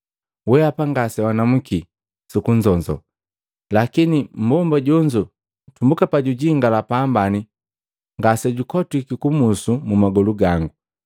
Wehapa ngasewanamuki sukunzonzo, lakini mmbomba jonzo tumbuka panyingala pambani ngasejakotwiki kubusu magolu gango.